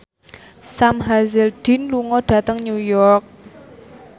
Sam Hazeldine lunga dhateng New York